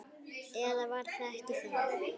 Eða var það ekki þá?